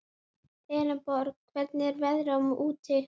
Elenborg, hvernig er veðrið úti?